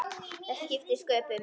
Það skiptir sköpum.